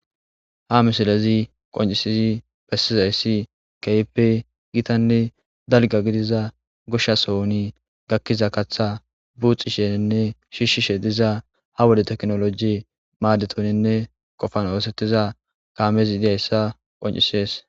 ha misilezi qoncisizi pessizayssi kepe gitanne dalga gidiza goshshasohoni gakkiza katha buuxi sheenne shiishshi she diza ha wode teknoloji maaddetonenne qofan oosettiza kaamezi idiyayssa qoncisees